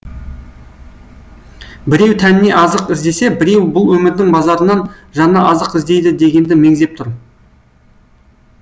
біреу тәніне азық іздесе біреу бұл өмірдің базарынан жанына азық іздейді дегенді меңзеп тұр